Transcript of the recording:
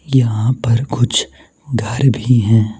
यहां पर कुछ घर भी हैं।